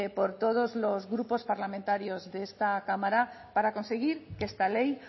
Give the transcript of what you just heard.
por todos los grupos parlamentarios de esta cámara para conseguir que esta ley